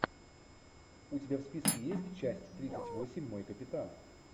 у тебя в списке есть часть тридцать восемь мой капитан